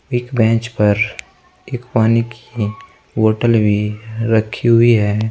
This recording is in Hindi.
एक बेंच पर एक पानी की बोतल भी रखी हुई है।